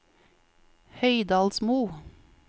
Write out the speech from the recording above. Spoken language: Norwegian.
Høydalsmo